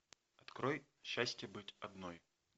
открой счастье быть одной